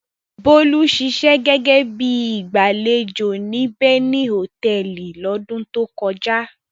Bólú ṣiṣẹ́ gẹ́gẹ́ bí i agbàlejò ní Beni Hòtẹ́ẹ́lì lọ́dún tó kọjá.